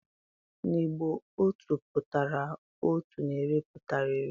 N'Igbo Otu pụtara otu na iri pụtara iri